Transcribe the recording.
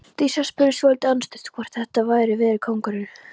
Dísa spurði svolítið andstutt hvort þetta hefði verið kóngurinn.